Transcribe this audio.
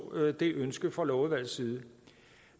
det ønske fra lovudvalgets side